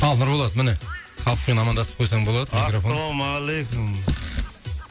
ал нұрболат міне халықпен амандасып қойсаң болады ассалаумағалейкум